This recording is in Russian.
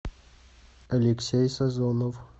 алексей сазонов